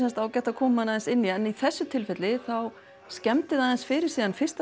ágætt að komi aðeins inn í en í þessu tilfelli þá skemmdi það aðeins fyrir síðan fyrsta